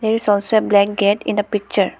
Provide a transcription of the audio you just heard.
There is also a blanket in the picture.